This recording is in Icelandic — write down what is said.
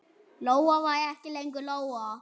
Lóa var ekki lengur Lóa.